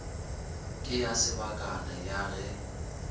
ke ya sebakana ya ge